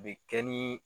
Bɛ kɛ ni